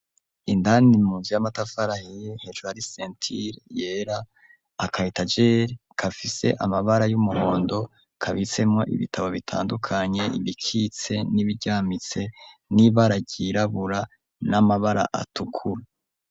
Indanimuzu y'amatafarahie hejwar is sentile yera akayitajeli kafise amabara y'umuhondo kabitsemwo ibitabo bitandukanye ibikitse n'ibiryamitse n'ibararyirabura n'amabara atukuru.